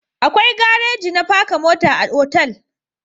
Akwai garaji na paka mota a otal